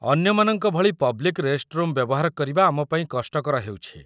ଅନ୍ୟମାନଙ୍କ ଭଳି public restroom ବ୍ୟବହାର କରିବା ଆମ ପାଇଁ କଷ୍ଟକର ହେଉଛି ।